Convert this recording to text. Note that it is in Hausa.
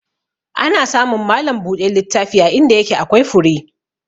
Ana samun malam buɗe littafi a inda yake akwai fure.